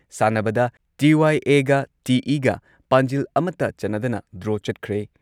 ꯁꯥꯟꯅꯕꯗ ꯇꯤ.ꯋꯥꯏ.ꯑꯦꯒ ꯇꯤ.ꯢꯒ ꯄꯥꯟꯖꯤꯜ ꯑꯃꯠꯇ ꯆꯟꯅꯗꯅ ꯗ꯭ꯔꯣ ꯆꯠꯈ꯭ꯔꯦ꯫